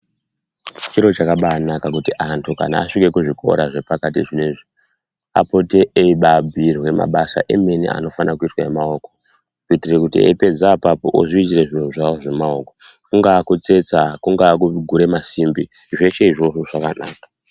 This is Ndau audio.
Chiro chakabaanaka kuti antu kana asvike kuzvikora zvepakakati zvinezvi apote eibaabhuirwe mabasa emene anofanira kuitwa emaoko. Kuitira kuti eipedze apapo ozviitire zviro zvawo zvemaoko, kungaa kutsetsa kungaa kugure masimbi, zveshe izvozvo zvakanaka.